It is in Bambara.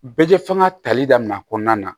Bɛɛ fɛngɛ tali daminɛ a kɔnɔna na